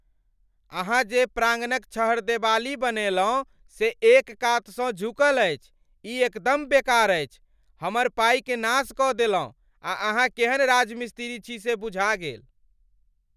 अहाँ जे प्राङ्गणक छहरदेबाली बनेलहुँ से एक कातसँ झुकल अछि, ई एकदम बेकार अछि, हमर पाइक नाश कऽ देलहुँ आ अहाँ केहन राजमिस्त्री छी से बुझा गेल।